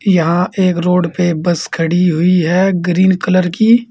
यहां एक रोड पे बस खड़ी हुई है ग्रीन कलर की।